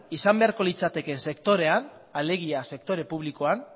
izan beharko litzatekeen sektorean alegia sektore publikoan